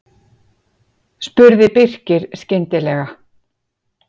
spurði Birkir skyndilega.